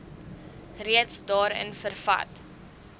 reeds daarin vervat